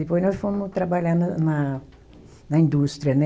Depois nós fomos trabalhar no na, na indústria, né?